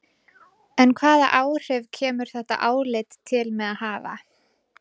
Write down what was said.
En hvaða áhrif kemur þetta álit til með að hafa?